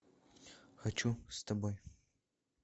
хочу с тобой